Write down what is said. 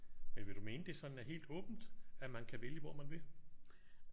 Men vil du mene det sådan er helt åbent? At man kan vælge hvor man vil?